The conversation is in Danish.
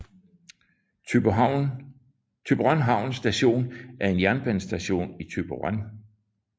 Thyborøn Havn Station er en jernbanestation i Thyborøn